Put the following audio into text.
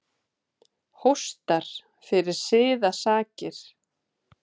Hóstar fyrir siðasakir.